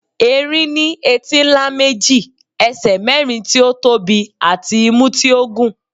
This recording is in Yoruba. erin ní etí ńlá méjì, ẹsẹ mérin tí ó tóbi àti imú tí ó gùn